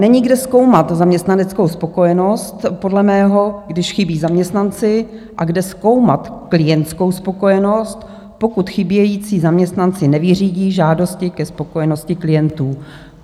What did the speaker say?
Není kde zkoumat zaměstnaneckou spokojenost podle mého, když chybí zaměstnanci, a kde zkoumat klientskou spokojenost, pokud chybějící zaměstnanci nevyřídí žádosti ke spokojenosti klientů.